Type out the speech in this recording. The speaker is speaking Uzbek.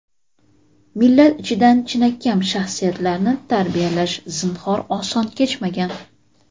Millat ichidan chinakam shaxsiyatlarni tarbiyalash zinhor oson kechmagan.